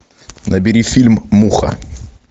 набери фильм муха